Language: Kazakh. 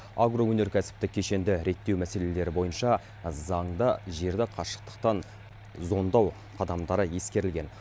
агроөнеркәсіптік кешенді реттеу мәселелері бойынша заңда жерді қашықтықтан зондау қадамдары ескерілген